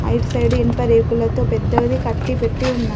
ఆ ఇటు సైడ్ ఇనుప రేకులతో పెద్దది కట్టిపెట్టి ఉన్నది.